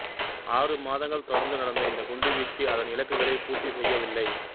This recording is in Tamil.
ஆறு மாதங்கள் தொடர்ந்து நடந்த இந்த குண்டுவீச்சு அதன் இலக்குகளைப் பூர்த்தி செய்யவில்லை